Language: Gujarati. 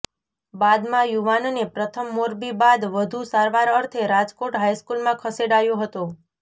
બાદમાં યુવાનને પ્રથમ મોરબી બાદ વધુ સારવાર અર્થે રાજકોટ હાઇસ્કુલમાં ખસેડાયો હતો